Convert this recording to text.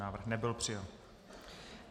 Návrh nebyl přijat.